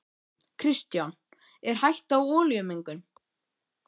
Kristján: Er hætta á olíumengun?